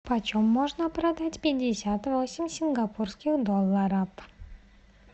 почем можно продать пятьдесят восемь сингапурских долларов